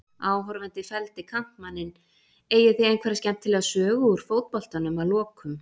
Áhorfandi felldi kantmanninn Eigið þið einhverja skemmtilega sögu úr fótboltanum að lokum?